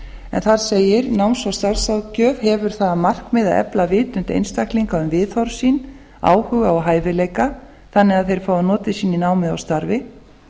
en þar segir náms og starfsráðgjöf hefur það að markmiði að efla vitund einstaklinga um viðhorf sín áhuga og hæfileika þannig að þeir fái notið sín í námi og starfi